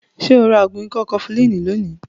Ṣo ra ògùn ikọ́ kọfulínì lónìí?